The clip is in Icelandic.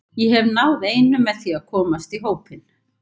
Ég hef náð einu með því að komast í hópinn.